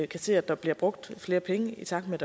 kan se at der bliver brugt flere penge i takt med